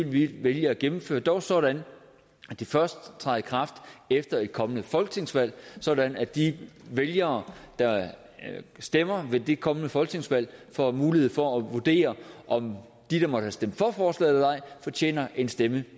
vi vælge at gennemføre dog sådan at det først træder i kraft efter et kommende folketingsvalg sådan at de vælgere der stemmer ved det kommende folketingsvalg får mulighed for at vurdere om de der måtte have stemt for forslaget fortjener en stemme